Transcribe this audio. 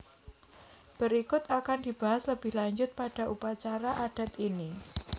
Berikut akan dibahas lebih lanjut pada upacara adat ini